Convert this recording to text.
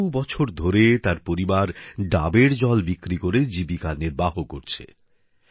বহু বছর ধরে তার পরিবার ডাবের জল বিক্রি করে জীবিকা নির্বাহ করছে